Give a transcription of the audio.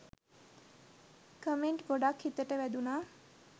Comment ගොඩක් හිතට වැදුනා.